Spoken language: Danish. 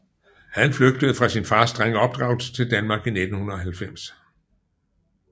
Han flygtede fra sin fars strenge opdragelse til Danmark i 1990